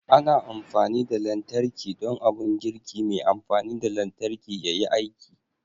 Ana amfani da lantarki don abun girki mai amfani da lantarki yayi aiki